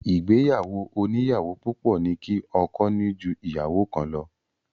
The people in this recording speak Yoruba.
Ìgbéyàwó oníyàwó púpọ̀ ní kí ọkọ ní jú ìyàwó kan lọ.